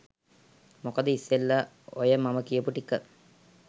මොකද ඉස්සෙල්ල ඔය මම කියපු ටික